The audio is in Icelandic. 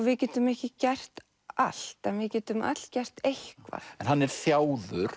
við getum ekki gert allt en við getum öll gert eitthvað en hann er